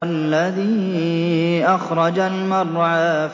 وَالَّذِي أَخْرَجَ الْمَرْعَىٰ